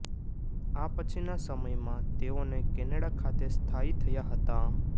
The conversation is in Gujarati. આ પછીના સમયમાં તેઓને કેનેડા ખાતે સ્થાયી થયા હતા